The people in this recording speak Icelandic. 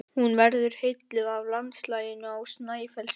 Hún verður heilluð af landslaginu á Snæfellsnesi.